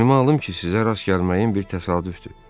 Boynuma alın ki, sizə rast gəlməyim bir təsadüfdür.